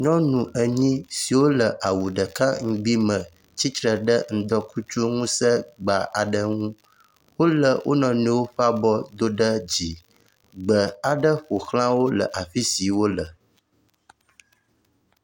Nyɔnu enyi siwo le awu ɖeka ŋugbi me tsi tre ɖe ŋdɔkutsi ŋusẽ gba aɖe ŋu. Wolé wo nɔnɔewo ƒe abɔ do ɖe dzi. Gbe aɖe ƒo xla wo le afi si wole.